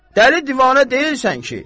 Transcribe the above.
Dəli-divanə deyilsən ki.